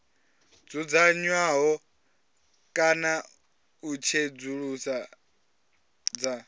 dzudzanywaho kana u tsedzuluso dza